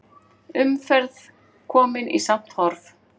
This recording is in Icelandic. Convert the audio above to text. Umferð komin í samt horf